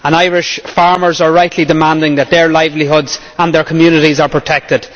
Irish farmers are rightly demanding that their livelihoods and their communities are protected.